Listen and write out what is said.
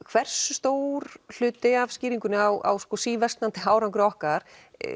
hversu stór hlut af skýringunni á síversnandi árangri okkar